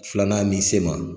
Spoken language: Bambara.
Filanan ni se ma